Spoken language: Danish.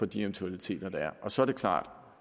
de eventualiteter der er og så er det klart